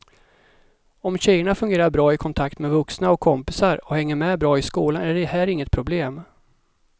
Om tjejerna fungerar bra i kontakt med vuxna och kompisar och hänger med bra i skolan är det här inget problem.